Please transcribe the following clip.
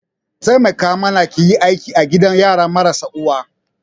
Taimaka mana ki yi aiki a gidan yara marasa uwa